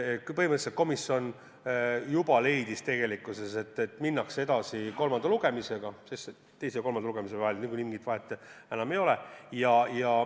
Põhimõtteliselt komisjon leidis, et minnakse edasi kolmanda lugemisega, sest teise ja kolmanda lugemise vahel niikuinii mingit vahet enam ei ole.